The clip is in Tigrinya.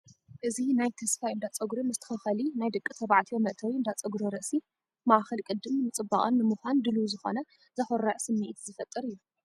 እዚ ናይ 'ተስፋይ እንዳፀጉሪ መስተኻኸሊ ናይ ደቂ ተባዕትዮ' መእተዊ እንዳ ጸጉሪ ርእሲ፡ ማእከል ቅዲን ምጽባቕን ንምዃን ድሉው ዝኾነ፡ ዘኹርዕ ስምዒት ዝፈጥር እዩ!